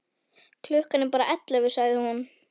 Klukkan er bara ellefu, sagði hún.